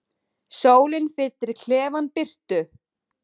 Sólin fyllir klefann birtu.